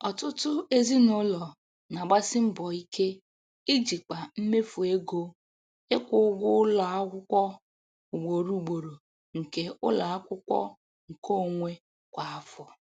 Ọtụtụ ezinụlọ na-agbasi mbọ ike ijikwa mmefu ego ịkwụ ụgwọ ụlọ akwụkwọ ugboro ugboro nke ụlọ akwụkwọ nkeonwe kwa afọ